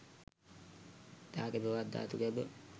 දාගැබ හෙවත් ධාතු ගැබ